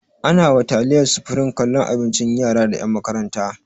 Ana wa taliyar supreme kallon abincin yara da ƴan makaranta